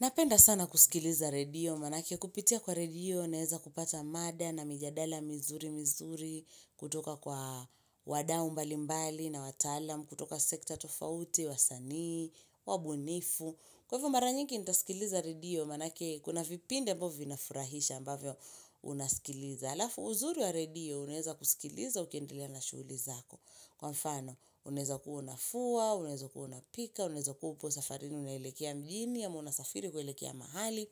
Napenda sana kusikiliza radio manake kupitia kwa radio unaeza kupata mada na mijadala mizuri mizuri kutoka kwa wadau mbalimbali na watalam, kutoka sekta tofauti, wasani, wabunifu. Kwa hivyo mara nyingi nitasikiliza redio manake kuna vipinde ambavyo vinafurahisha ambavyo unasikiliza. Alafu uzuri wa redio unaeza kusikiliza ukeendelea na shughuli zako. Kwa mfano, unaeza kuwa unafua, unaeza kuwa unapika, unaeza kuupo safarini, unaelekea mjini, ama una safiri kuelekea mahali.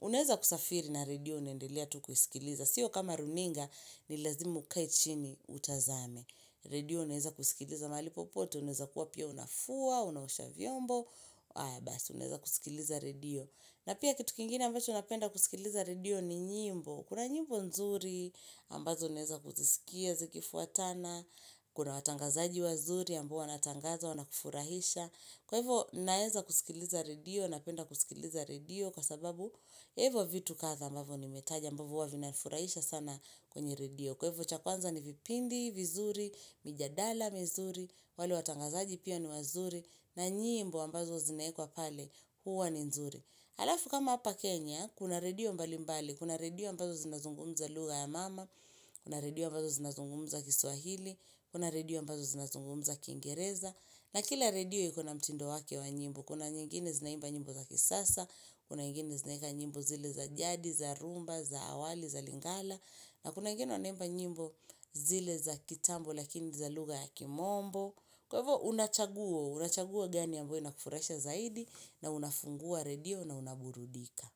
Unaeza kusafiri na redio unaendelea tu kusikiliza. Sio kama runinga, ni lazima ukae chini utazame. Redio unaeza kusikiliza mahali popote, unaeza kuwa pia unafua, unaosha vyombo. Aya basi, unaeza kusikiliza redio. Na pia kitu kingine ambacho napenda kusikiliza radio ni nyimbo. Kuna nyimbo nzuri ambazo naeza kuzisikia zikifuatana, kuna watangazaji wazuri ambao wanatangaza wanakufurahisha. Kwa hivo naeza kusikiliza redio, napenda kusikiliza redio kwa sababu hivo vitu kadha ambavyo nimetaja ambavo huwa vinanifurahisha sana kwenye redio. Kwa hivo cha kwanza ni vipindi, vizuri, mijadala, vizuri, wale watangazaji pia ni wazuri, na njimbo ambazo zinaekwa pale, huwa ni nzuri. Alafu kama hapa Kenya, kuna redio mbali mbali, kuna redio ambazo zinazungumza lugha ya mama, kuna redio ambazo zinazungumza kiswahili, kuna redio ambazo zinazungumza kingereza na kila redio iko na mtindo wake wa nyimbo, kuna nyingine zinaimba nyimbo za kisasa, kuna nyingine zinaeka nyimbo zile za jadi, za rhumba, za awali, za lingala na kuna wengine wanaimba nyimbo zile za kitambo lakini za lugha ya kimombo kwa hivyo unachaguwa, unachaguwa gani ya ambayo inakufurahisha zaidi na unafungua redio na unaburudika.